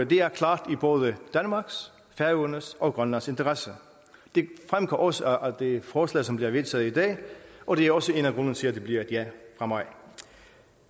det er klart i både danmarks færøernes og grønlands interesse det fremgår også af det forslag som bliver vedtaget i dag og det er også en af grundene til at det bliver et ja fra mig